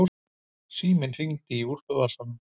Síminn hringdi í úlpuvasanum.